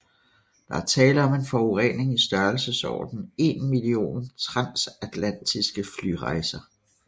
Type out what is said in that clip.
Der er tale om en forurening i størrelsesorden en million transatlantiske flyrejser